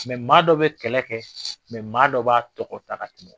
maa dɔ bɛ kɛlɛ kɛ maa dɔ b'a tɔgɔ ta ka tɛmɛ.